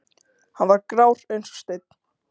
Hann var grár eins og steinn.